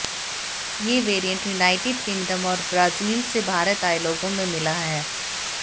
यह variant United Kingdom और Brazil से भारत आए लोगों में मिला है